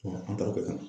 an taara o kɛ ka na